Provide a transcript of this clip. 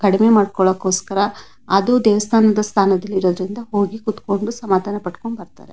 ಕಡಿಮೆ ಮಾಡಕೋಸ್ಕರ ಅದು ದೇವಸ್ಥಾನ ಸ್ಥಾನದಲ್ಲಿ ಇರೋದ್ರಿಂದ ಹೋಗಿ ಕೂತುಕೊಂಡು ಸಮಾಧಾನ ಪಟುಕೊಂಡು ಬರ್ತಾರೆ.